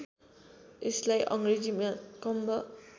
यसलाई अङ्ग्रेजीमा कम्ब